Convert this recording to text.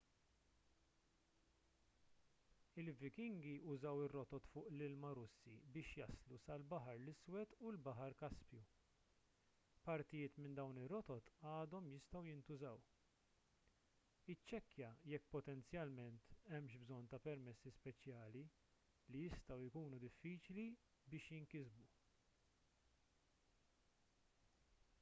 il-vikingi użaw ir-rotot fuq l-ilma russi biex jaslu sal-baħar l-iswed u l-baħar kaspju partijiet minn dawn ir-rotot għadhom jistgħu jintużaw iċċekkja jekk potenzjalment hemmx bżonn ta' permessi speċjali li jistgħu jkunu diffiċli biex jinkisbu